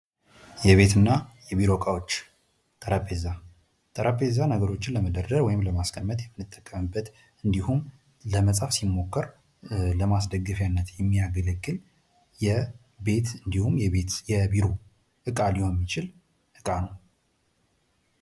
የቤት እና የቢሮ እቃዎች ጠረንጴዛ፦ ጠረንጴዛ ነገሮችን ለመደርደር ወይም ለማስቀመጥ የምንጠቀምበት እንዲሁም ለመጻፍ ስንሞክር ለማስደገፊያነት የሚያገልግል የቤት እንዲሆን የቢሮ እቃ ሊሆን የሚችል እቃ ነው።